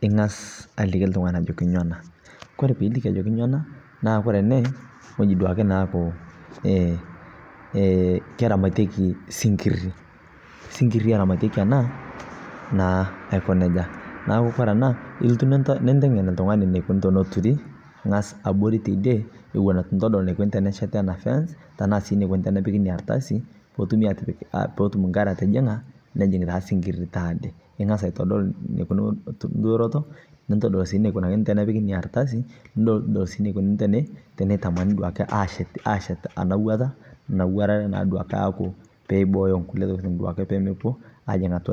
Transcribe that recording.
ingaz alikii ltungani ajokii nyo anaa. kore enee naa nghoji naramatiekii sinkirii ilikii neikunii teneturii ntokii natuwaa anaa, nilikii sii neikunii tenepikii nkardasii